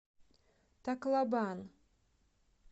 таклобан